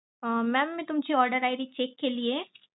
अह mam मी तुमची order ID check केलीये.